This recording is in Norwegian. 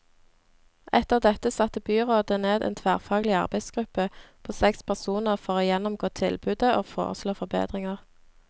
Etter dette satte byrådet ned en tverrfaglig arbeidsgruppe på seks personer for å gjennomgå tilbudet og foreslå forbedringer.